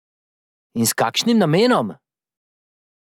In s kakšnim namenom?